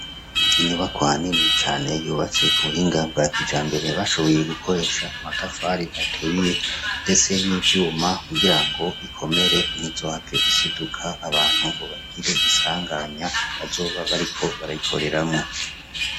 Inyubakwa nini cane yubatse ku buhinga bwa kijambere bashoboye gukoresha amatafari aturiye ndetse n' ivyuma kugira ngo ikomere ntizohave isiduka abantu ngo bagire isanganya bazoba bariko barayikoreramwo.